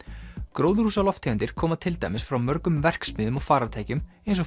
gróðurhúsalofttegundir koma til dæmis frá mörgum verksmiðjum og farartækjum eins og